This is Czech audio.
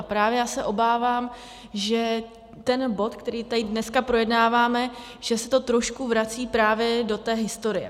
A právě já se obávám, že ten bod, který tady dneska projednáváme, že se to trošku vrací právě do té historie.